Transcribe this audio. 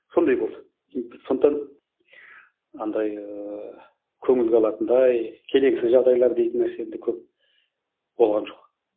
сондай болды сондықтан андай ыыы көңілге алатындай келеңсіз жағдайлар дейтін нәрсе енді көп болған жоқ